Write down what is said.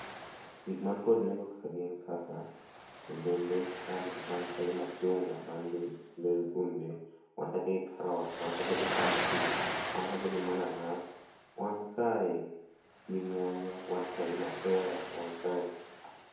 Gik man kod nengo ka gin kaka olembe, wan ka gi machunga man gi ndhandhu kuom del, wan kacha gi carrot ,wan kacha gi pumpkin, wan kacha gi mananas, wan kae gi nyanya, wan kae gi mapera, wan kae